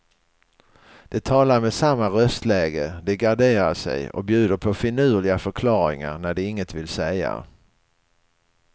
De talar med samma röstläge, de garderar sig och bjuder på finurliga förklaringar när de inget vill säga.